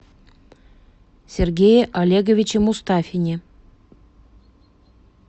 сергее олеговиче мустафине